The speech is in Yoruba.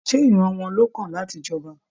Ṣe ìran wọn ló kan láti j'ọba?